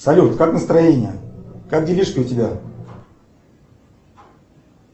салют как настроение как делишки у тебя